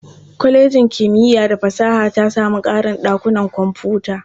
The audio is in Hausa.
Kwalejin kimiyya fa fasaha ta samu ƙarin ɗakunan kwamfuta.